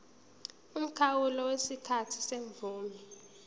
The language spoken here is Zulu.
umkhawulo wesikhathi semvume